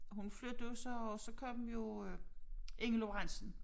Og hun flyttede så og så kom jo Inge Lorentzen